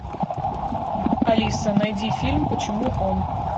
алиса найди фильм почему он